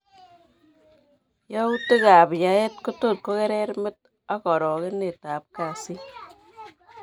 Yautik ab yaeet kotot ko kerer met ak orokenet ab kasit